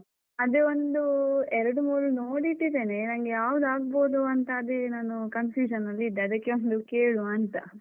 ಅದೇ ಒಂದು, ಎರಡು ಮೂರು ನೋಡಿಟ್ಟಿದ್ದೇನೆ, ನಂಗೆ ಯಾವ್ದ್ ಆಗ್ಬಹುದು ಅಂತ ಅದೇ ನಾನು confusion ಅಲ್ಲಿ ಇದ್ದೆ. ಅದಕ್ಕೆ ಒಂದು ಕೇಳುವಾಂತ.